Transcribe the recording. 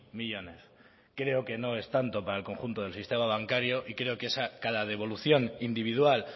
millónes creo que no es tanto para el conjunto del sistema bancario y creo que cada devolución individual